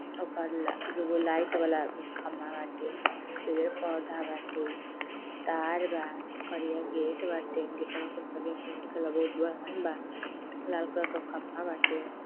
ओपर ल दुगो लाइट वाला खम्बा वाटे। यही पौधा बाटे तार बा करिया गेट बाटे। गेटवा पे करिया पेण्ट करल बा। उ बहुत बड़हन बा। लाल कलर के खम्बा बाटे --